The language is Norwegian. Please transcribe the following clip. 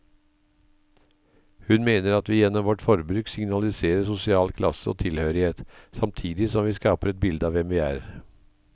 Hun mener at vi gjennom vårt forbruk signaliserer sosial klasse og tilhørighet, samtidig som vi skaper et bilde av hvem vi er.